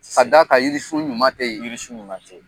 Ka q'a kan yirisu ɲuman tɛ yen, yiri sun ɲuman tɛ yen.